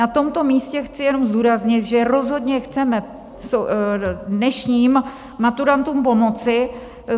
Na tomto místě chci jenom zdůraznit, že rozhodně chceme dnešním maturantům pomoci.